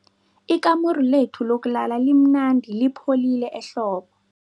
Ikamuru lethu lokulala limnandi lipholile ehlobo.